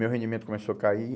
Meu rendimento começou a cair.